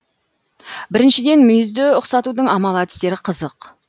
біріншіден мүйізді ұқсатудың амал әдістері қызық